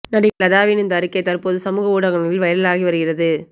நடிகை லதாவின் இந்த அறிக்கை தற்போது சமூக ஊடகங்களில் வைரலாகி வருகிறது